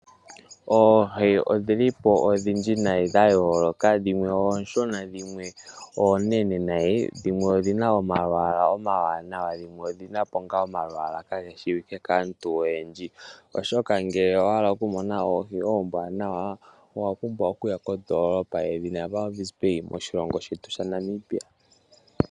Oohi odhi li po odhindji noonkondo dha yooloka. Dhimwe oonshona dhimwe oonene noonkondo. Dhimwe odhi na omalwaala omawanawa dho dhimwe odhi na omalwaala kaage shiwike koyendji, oshoka ngele owa hala okumona oohi oombwaanawa, owa pumbwa okuya kondoolopa yedhina Walvis Bay moshilongo shetu.